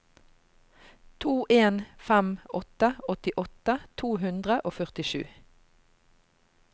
to en fem åtte åttiåtte to hundre og førtisju